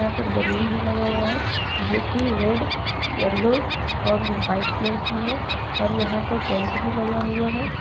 ऊपर बैलून भी लगा हुआ है जो कि रेड येलो और वाइट कलर की है और यहां पर टेंट भी लगा हुआ है।